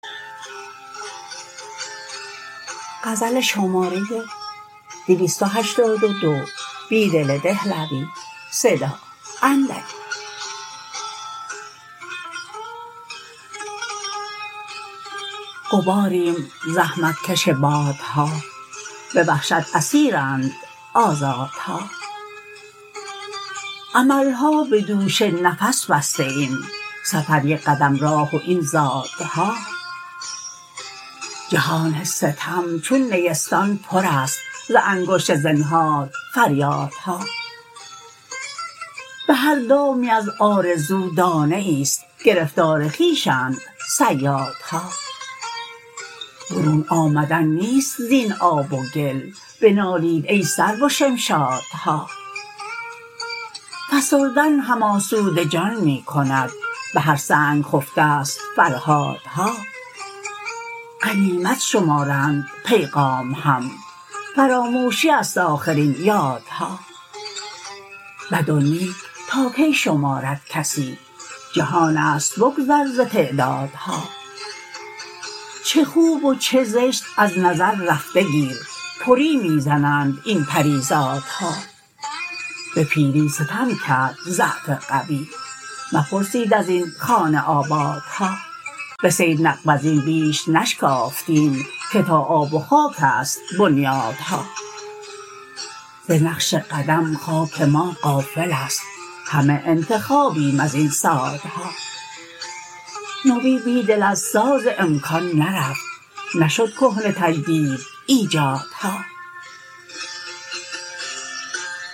غباریم زحمتکش بادها به وحشت اسیرند آزادها املها به دوش نفس بسته ایم سفریک قدم راه و این زادها جهان ستم چون نیستان پر است ز انگشت زنهار فریادها به هر دامی از آرزو دانه ای ست گرفتار خویشند صیادها برون آمدن نیست زین آب وگل بنالید ای سرو و شمشادها فسردن هم آسوده جان می کند به هر سنگ خفته ست فرهادها غنیمت شمارند پیغام هم فراموشی است آخر این یادها بد ونیک تاکی شماردکسی جهان است بگذر ز تعدادها چه خوب و چه زشت ازنظر رفته گیر پری می زنند این پریزادها به پیری ستم کرد ضعف قوی مپرسید از این خانه آبادها به صید نقب ازین بیش نشکافتیم که تا آب و خاک است بنیادها ز نقش قدم خاک ما غافل است همه انتخابیم ازین صادها نوی بیدل از ساز امکان نرفت نشد کهنه تجدید ایجادها